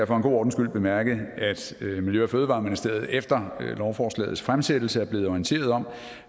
for god ordens skyld bemærke at miljø og fødevareministeriet efter lovforslagets fremsættelse er blevet orienteret om